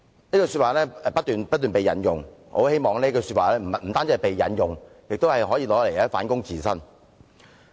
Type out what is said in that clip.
"這句話不斷被引用，但我很希望這句話不單被引用，亦可用作反躬自省。